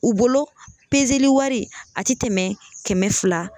U bolo wari a tɛ tɛmɛ kɛmɛ fila.